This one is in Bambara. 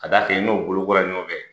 K'a d'a kan i n'o bolo kola ɲɔgɔn fɛ.